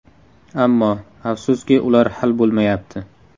Ammo, afsuski, ular hal bo‘lmayapti.